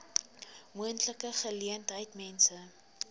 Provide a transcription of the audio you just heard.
moontlike geleentheid mense